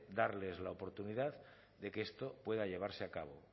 darles la oportunidad de que esto pueda llevarse a cabo